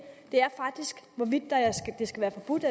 det er faktisk hvorvidt det skal være forbudt